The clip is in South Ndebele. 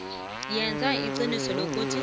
yenza iqiniso lokuthi